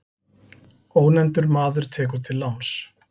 Ónefndur maður tekur til láns.